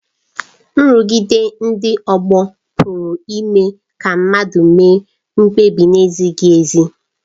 Nrụgide ndị ọgbọ pụrụ ime ka mmadụ mee mkpebi na-ezighị ezi.